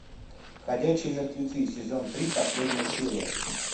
ходячие мертвецы сезон три последняя серия